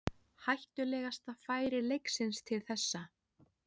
Hættulegasta færi leiksins til þessa.